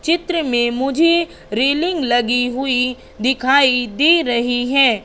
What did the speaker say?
चित्र में मुझे रेलिंग लगी हुई दिखाई दे रही है।